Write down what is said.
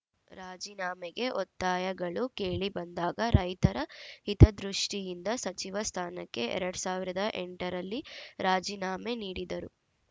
ರಾಜೀನಾಮೆಗೆ ಒತ್ತಾಯಗಳು ಕೇಳಿಬಂದಾಗ ರೈತರ ಹಿತದೃಷ್ಟಿಯಿಂದ ಸಚಿವ ಸ್ಥಾನಕ್ಕೆ ಎರಡ್ ಸಾವಿರದ ಎಂಟ ರಲ್ಲಿ ರಾಜೀನಾಮೆ ನೀಡಿದರು